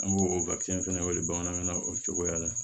An b'o o fɛnɛ wele bamanankan na o cogoya la